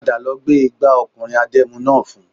Padà lọ gbé igbà ọkùnrin adẹ́mu náà fún